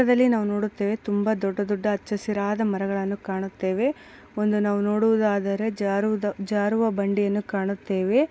ಪಕ್ಕದಲ್ಲಿ ನಾವು ನೋಡುತ್ತೆವೆ ತುಂಬಾ ದೊಡ್ಡ ದೊಡ್ಡ ಹಚ್ಚಹಸಿರಾದ ಮರಗಳ್ಳನ ಕಾಣುತ್ತೆವೆ. ಒಂದು ನಾವು ನೋಡುವುದಾದರೆ ಜಾರುದ ಜಾರುವ ಬಂಡಿಯನು ಕಾಣುತೇವೆ.